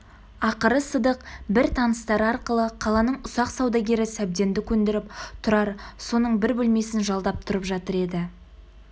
ақыры сыдық бір таныстары арқылы қаланың ұсақ саудагері сәбденді көндіріп тұрар соның бір бөлмесін жалдап тұрып жатыр еді